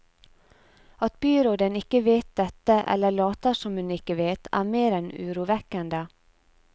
At byråden ikke vet dette, eller later som hun ikke vet, er mer enn urovekkende.